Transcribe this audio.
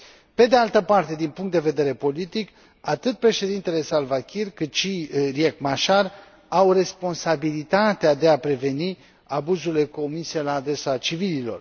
Pe de altă parte, din punct de vedere politic, atât președintele Salva Kiir, cât și Riek Machar au responsabilitatea de a preveni abuzurile comise la adresa civililor.